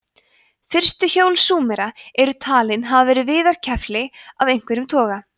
fyrstu hjól súmera eru talin hafa verið viðarkefli af einhverjum toga